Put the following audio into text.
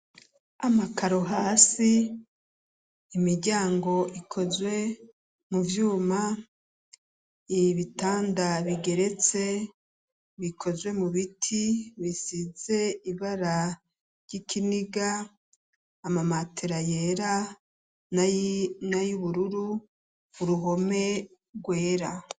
Amakaru hasi imiryango ikozwe mu vyuma ibitanda bigeretse bikozwe mu biti bisize ibara ry'ikiniga amamatera yera na y'ubururu uruhome rwera.